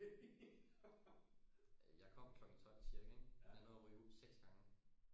Øh jeg kom klokken tolv ca ik jeg nåede at ryge ud seks gange